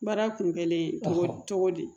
Baara kun gɛlen ye togo cogo di